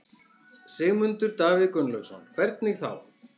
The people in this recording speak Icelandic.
Sigmundur Davíð Gunnlaugsson: Hvernig þá?